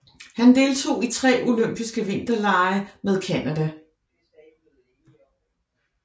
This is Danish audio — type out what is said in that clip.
Han deltog i tre olympiske vinterlege med Canada